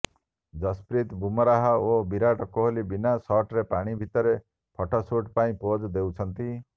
ଜଶପ୍ରୀତ ବୁମରାହ ଓ ବିରାଟ କୋହଲି ବିନା ସାର୍ଟରେ ପାଣି ଭିତରେ ଫଟୋ ସୁଟ୍ ପାଇଁ ପୋଜ୍ ଦେଉଛନ୍ତି